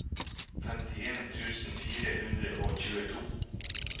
femtien tusen fire hundre og tjueto